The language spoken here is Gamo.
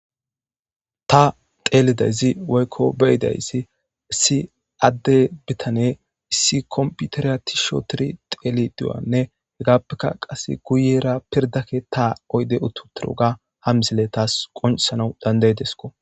ta teelidayzi woykko beyidayssi issi adde bitane issi komputeriya tisho tiri teeli diwanne hegaappeka qas guyera pirdakke ta oyde ututuruga ha misile taas qonsana dandayidesko